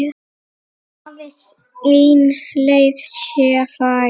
Aðeins ein leið sé fær.